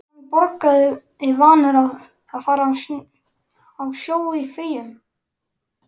En hann borgaði, vanur að fara á sjó í fríum.